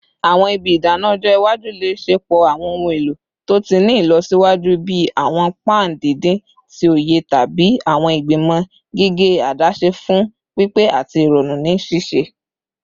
Awọn ibi idana ọjọ iwaju le ṣepọ awọn ohun elo to ti ni ilọsiwaju bii awọn pan didin ti oye tabi awọn igbimọ gige adaṣe fun pipe ati irọrun ni sise